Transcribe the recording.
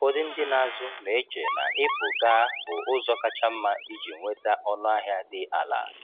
Ụfọdụ ndị na-azụ na-eche na ịpụ gaa bụ ụzọ kacha mma iji nweta ọnụahịa dị ala.